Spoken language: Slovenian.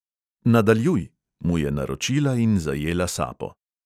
"Nadaljuj!" mu je naročila in zajela sapo.